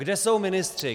Kde jsou ministři?